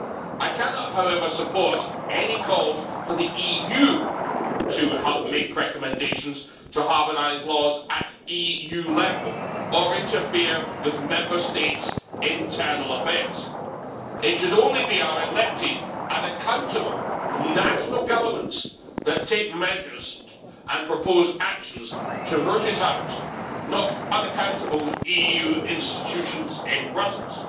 I cannot, however, support any calls for the EU to make recommendations to harmonise laws at EU level or interfere with Member States' internal affairs. It should only be our elected and accountable national governments that take measures and propose actions to root it out, not unaccountable EU institutions in Brussels.